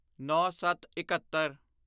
ਨੌਂਸੱਤਇੱਕਹੱਤਰ